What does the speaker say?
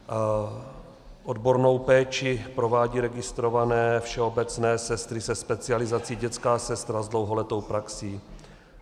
Odbornou péči provádí registrované všeobecné sestry se specializací dětská sestra s dlouholetou praxí.